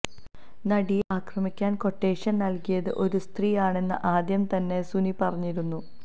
നടിയെ ആക്രമിക്കാന് ക്വട്ടേഷന് നല്കിയത് ഒരു സ്ത്രീ ആണെന്ന് ആദ്യം തന്നെ സുനി പറഞ്ഞിരുന്നു